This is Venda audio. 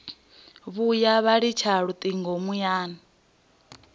vhuya vha litsha lutingo muyani